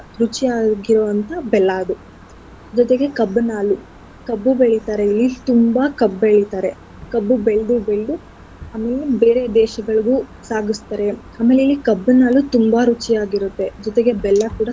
ರುಚಿಯಾಗಿರೊ ಅಂಥ ಬೆಲ್ಲ ಅದು ಜತೆಗೆ ಕಬ್ಬಿನ್ ಹಾಲು. ಕಬ್ಬು ಬೆಳಿತಾರೆ ಇಲ್ಲಿ ತುಂಬಾ ಕಬ್ಬ್ ಬೆಳಿತಾರೆ ಕಬ್ಬು ಬೆಳ್ದು ಬೆಳ್ದು ಆಮೆಲೆ ಬೇರೆ ದೇಶಗಳಿಗೂ ಸಾಗಿಸ್ತಾರೆ. ಆಮೇಲೆ ಇಲ್ಲಿ ಕಬ್ಬಿನ ಹಾಲು ತುಂಬಾ ರುಚಿಯಾಗಿರತ್ತೆ ಜೊತೆಗೆ ಬೆಲ್ಲ ಕೂಡ.